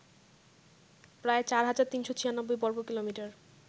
প্রায় ৪৩৯৬ বর্গকিমি